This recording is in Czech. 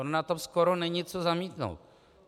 Ono na tom skoro není co zamítnout.